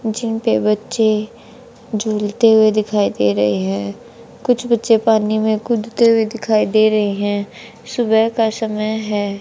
जिन पे बच्चे झूलते हुए दिखाई दे रहे हैं कुछ बच्चे पानी में कूदते हुए दिखाई दे रहे हैं सुबह का समय है।